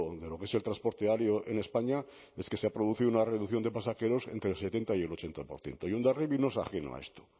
de lo que es el transporte aéreo en españa es que se ha producido una reducción de pasajeros entre setenta y el ochenta por ciento y hondarribia no es ajeno a esto